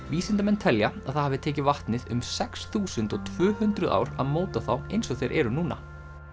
vísindamenn telja að það hafi tekið vatnið um sex þúsund tvö hundruð ár að móta þá eins og þeir eru núna